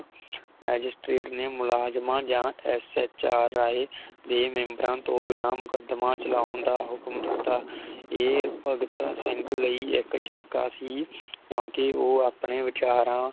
Magistrate ਨੇ ਮੁਲਾਜ਼ਮਾਂ ਜਾ ਇਸ ਐਚ ਆਰ ਰਾਇ ਦੇ ਮੇਮ੍ਬਰਾਂ ਤੋਂ ਬਿਨਾ ਮੁਕਦਮਾ ਚਲਾਉਣ ਦਾ ਹੁਕਮ ਦਿਤਾ ਏ ਭਗਤ ਸਿੰਘ ਲਈ ਇਕ ਚਟਕਾ ਸੀ ਕਿਉਕਿ ਉਹ ਆਪਣੇ ਵਿਚਾਰਾਂ